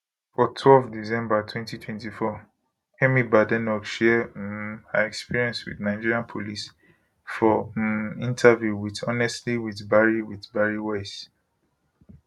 for twelve december 2024 kemi badenoch share um her experience wit nigerian police for um interview wit honestly with bari with bari weiss